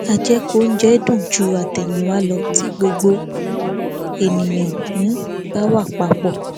àjẹkù oúnjẹ ń dùn ju àtẹyìnwá lọ tí gbogbo ènìyàn um bá wà papọ